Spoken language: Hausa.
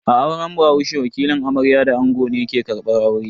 A auren bahaushe, wakilin amarya da ango ne ke karbar aure.